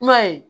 I m'a ye